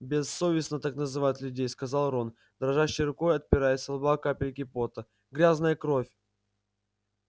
бессовестно так называть людей сказал рон дрожащей рукой отирая со лба капельки пота грязная кровь